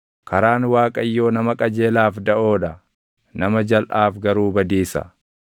Abdiin nama qajeelaa gammachuu taʼa; wanni namni hamaan eeggatu garuu ni bada.